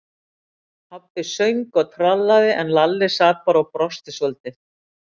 Pabbi söng og trallaði, en Lalli sat bara og brosti svolítið.